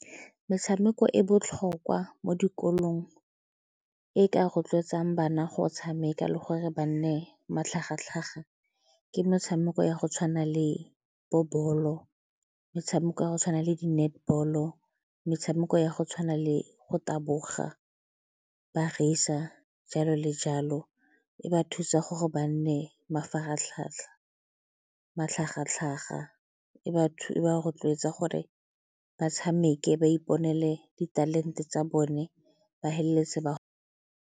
Metshameko e botlhokwa mo dikolong, e ka rotloetsang bana go tshameka le gore ba nne matlhagatlhaga ke metshameko ya go tshwana le bo bolo, metshameko ya go tshwana le di-netball-o, metshameko ya go tshwana le go taboga, ba , jalo le jalo. E ba thusa gore ba nne matlhagatlhaga e ba rotloetsa gore ba tshameke ba iponele ditalente tsa bone ba feleletsa ba.